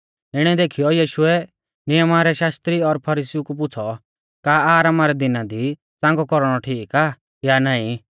इणै देखीयौ यीशुऐ नियमा रै शास्त्री और फरीसीउ कु पुछ़ौ का आरामा रै दिना दी च़ांगौ कौरणौ ठीक आ या नाईं